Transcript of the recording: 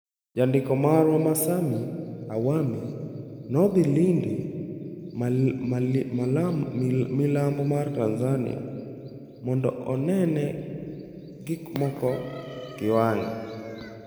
Jandiko marwa ma Sammy Awami nodhi Lindi, Milambo mar Tanzania mondo onene gikmoko gi wang'e.